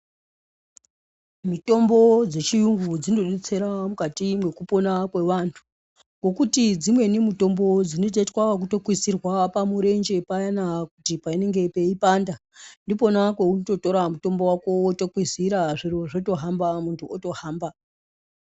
Mutombo dzechiuyungu dzinodetsira mukati mwekupona kwevandhu. Ngokuti dzimweni mutombo dzinotoitwa ekukwizirwa pamurenje payani panenge peiyipanda ndipona paunotora mutombo wako wotokwizira zviro zvotohamba mundhu otohamba